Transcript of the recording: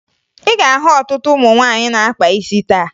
Ị ga-ahụ ọtụtụ ụmụ nwaanyị na-akpa isi taa